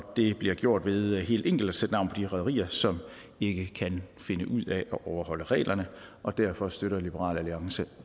det bliver gjort ved helt enkelt at sætte navn på de rederier som ikke kan finde ud af at overholde reglerne og derfor støtter liberal alliance